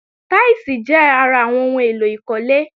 Táílsìì jẹ́ ara àwọn ohun èlò ìkólé